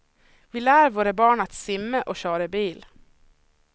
Vi lär våra barn att simma och köra bil.